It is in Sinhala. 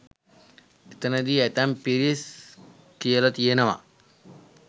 එතනදි ඇතැම් පිරිස් කියලා තියෙනවා